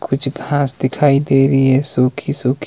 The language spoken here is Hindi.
कुछ घास दिखाई दे रही हैं सुखी सुखी।